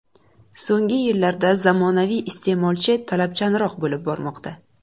So‘nggi yillarda zamonaviy iste’molchi talabchanroq bo‘lib bormoqda.